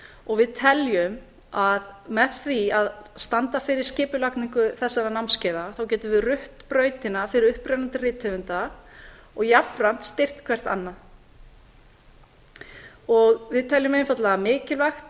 og við teljum að með því að standa fyrir skipulagningu þessara námskeiða getum við rutt brautina fyrir upprennandi rithöfunda og jafnframt styrkt hvert annað við teljum einfaldlega mikilvægt